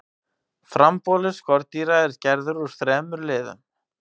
frambolur skordýra er gerður úr þremur liðum